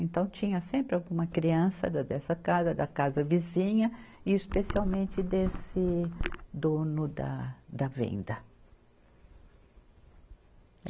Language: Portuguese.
Então, tinha sempre alguma criança da dessa casa, da casa vizinha, e especialmente desse dono da, da venda.